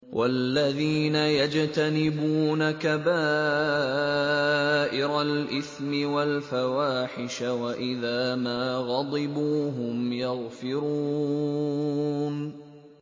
وَالَّذِينَ يَجْتَنِبُونَ كَبَائِرَ الْإِثْمِ وَالْفَوَاحِشَ وَإِذَا مَا غَضِبُوا هُمْ يَغْفِرُونَ